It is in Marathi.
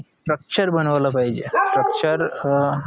structure बनवला पाहिजे structure अं